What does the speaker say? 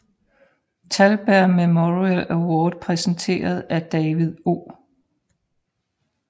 Thalberg Memorial Award præsenteret af David O